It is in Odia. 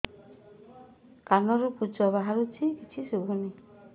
କାନରୁ ପୂଜ ବାହାରୁଛି କିଛି ଶୁଭୁନି